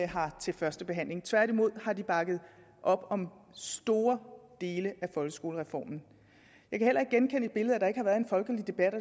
har til første behandling tværtimod har de bakket op om store dele af folkeskolereformen jeg kan heller ikke genkende billedet af at der ikke har været en folkelig debat og